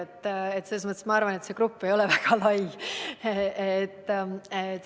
Nii et selles mõttes ma arvan, et see grupp ei ole väga lai.